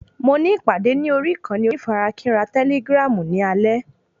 Mo ní ìpàdé ní orí ìkànnì onífarakínra tẹ́lígràm ní alẹ́